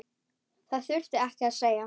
Það þurfti ekkert að segja.